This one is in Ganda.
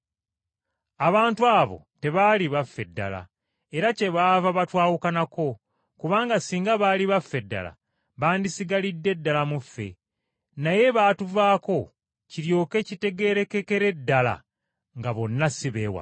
Abantu abo tebaali baffe ddala, era kyebaava batwawukanako, kubanga singa baali baffe ddala bandisigalidde ddala mu ffe. Naye baatuvaako kiryoke kitegeerekekere ddala nga bonna si b’ewaffe.